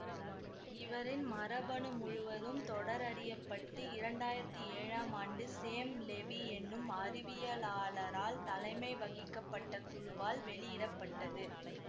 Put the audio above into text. இவரின் மரபணு முழுவதும் தொடரறியப்பட்டு இரண்டாயிரத்தி ஏழாம் ஆண்டு சேம் லெவி என்னும் அறிவியலாளரால் தலைமை வகிக்கப்பட்ட குழுவால் வெளியிட பட்டது